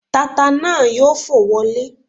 Tata náà yóò fò wọlẹ́